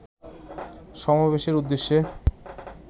সমাবেশের উদ্দেশ্যে